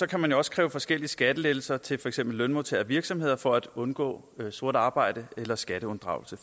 kan man jo også kræve forskellige skattelettelser til for eksempel lønmodtagere og virksomheder for at undgå sort arbejde eller skatteunddragelse